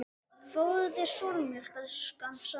Fáðu þér súrmjólk, elskan, sagði hún.